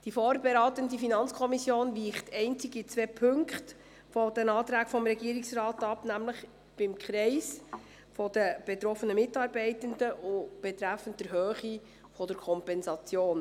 Die vorberatende FiKo weicht einzig in zwei Punkten von den Anträgen des Regierungsrates ab, nämlich beim Kreis der betroffenen Mitarbeitenden und betreffend die Höhe der Kompensation.